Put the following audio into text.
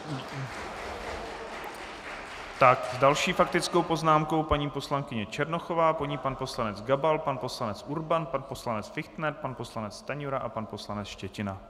S další faktickou poznámkou paní poslankyně Černochová, po ní pan poslanec Gabal, pan poslanec Urban, pan poslanec Fichtner, pan poslanec Stanjura a pan poslanec Štětina.